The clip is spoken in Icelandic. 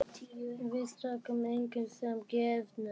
Við tókum engu sem gefnu.